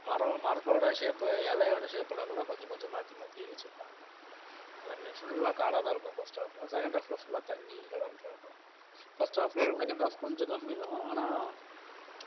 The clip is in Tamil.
மரம் மரத்தோட shape இலையோட shape எல்லாம் கூட கொஞ்சம் கொஞ்சம் மாத்தி மாத்தி வச்சிருப்பாங்க எல்லாமே full ஆ காடாதான் இருக்கும் first half உ second half ல full ஆ, தண்ணி இருக்கும் first half ஐ விட second half கொஞ்சம் கம்மிதான் ஆனா